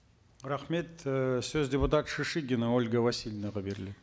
рахмет ы сөз депутат шишигина ольга васильевнаға беріледі